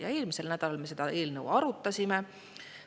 Ja eelmisel nädalal me seda eelnõu arutasime.